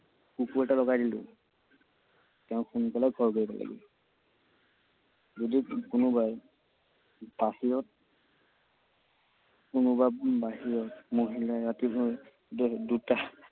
কুকুৰ এটা লগাই দিলো। তেওঁ সোনকালে ঘৰ গৈ পালেগৈ। যদি কোনোবাই বাহিৰত, কোনোবা বাহিৰত মহিলাই ৰাতিলৈ ডেৰ দুটা